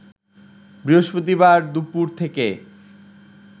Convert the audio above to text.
বৃহস্পতিবার দুপুর থেকে